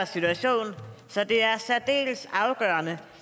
situation så det er særdeles afgørende